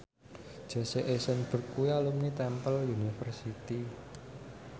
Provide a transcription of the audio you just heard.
Jesse Eisenberg kuwi alumni Temple University